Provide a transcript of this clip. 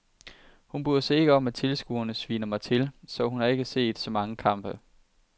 Hun bryder sig ikke om at tilskuerne sviner mig til, så hun har ikke set så mange kampe.